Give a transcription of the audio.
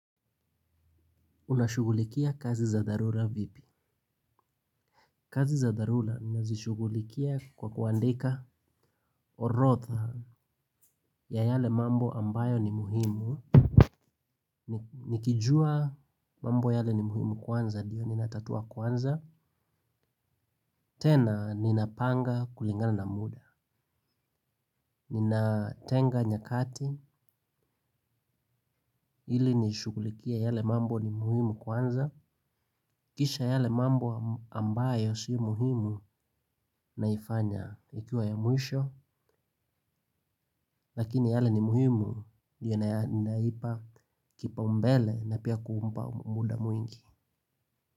Unashughulikia kazi za dharura vipi. Kazi za dharula nazishugulikia kwa kuandika orotha ya yale mambo ambayo ni muhimu. Nikijua mambo yale ni muhimu kwanza diyo ninatatua kwanza. Tena ninapanga kulingana na muda. Ninatenga nyakati ili niushugulikie yale mambo ni muhimu kwanza. Kisha yale mambo ambayo si muhimu naifanya ikiwa ya mwisho. Lakini yale ni muhimu ninaipa kipa umbele. Na pia kuumpa muda mwingi.